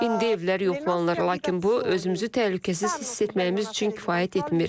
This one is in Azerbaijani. İndi evlər yoxlanır, lakin bu, özümüzü təhlükəsiz hiss etməyimiz üçün kifayət etmir.